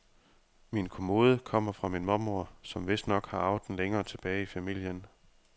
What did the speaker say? Min kommode kommer fra min mormor, som vistnok har arvet den længere tilbage i familien.